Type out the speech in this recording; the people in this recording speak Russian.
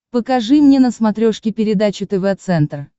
покажи мне на смотрешке передачу тв центр